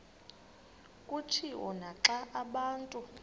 kutshiwo naxa abantu